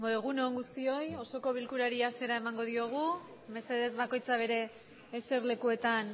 egun on guztioi osoko bilkurari hasiera emango diogu mesedez bakoitza zuen eserlekuetan